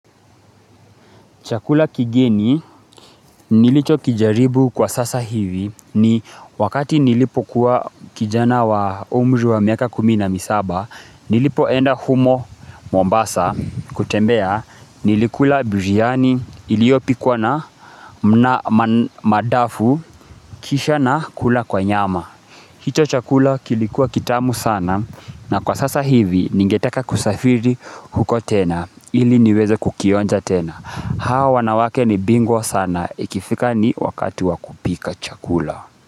Chakula kigeni nilicho kijaribu kwa sasa hivi ni wakati nilipo kuwa kijana wa umri wa miaka kumi na misaba nilipo enda humo Mombasa kutembea nilikula biryani iliopikwa na mna madafu kisha na kula kwa nyama. Hicho chakula kilikuwa kitamu sana na kwa sasa hivi ningetaka kusafiri huko tena ili niweze kukionja tena. Hao wanawake ni bingwa sana ikifika ni wakati wa kupika chakula.